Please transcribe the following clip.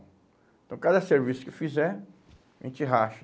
Então, cada serviço que fizer, a gente racha.